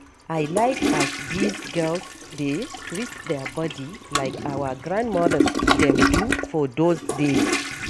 I like as dese girls dey twist their body like our grand-mothers dem do for dose days.